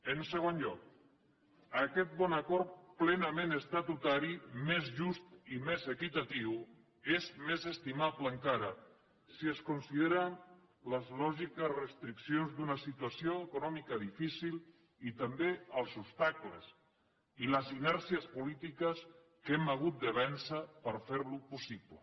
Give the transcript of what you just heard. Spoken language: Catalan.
en segon lloc aquest bon acord plenament estatutari més just i més equitatiu és més estimable encara si es consideren les lògiques restriccions d’una situació econòmica difícil i també els obstacles i les inèrcies polítiques que hem hagut de vèncer per fer lo possible